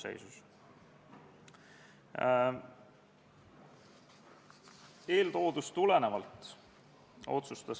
Tänases päevakorras on 16 päevakorrapunkti.